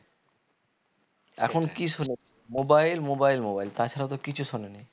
এখন কি শোনে mobile mobile mobile তা ছারা তো কিছু শোনে নি